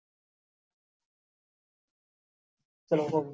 ਚੱਲੋ ਹੁਣ।